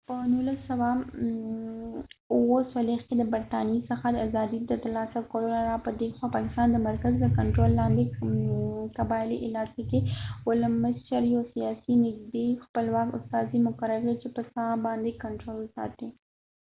په 1947 کې د برطانیې څخه د ازادي د تر لاسه کولو نه را په ديخوا پاکستان د مرکز د کنترول لاندې قبایلی علاقو کې ولسمشر یو سیاسی نږدې خپلواک استازی مقرر کړي چې په ساحه باندې کنټرول وساتي